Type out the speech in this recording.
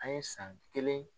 An ye san kelen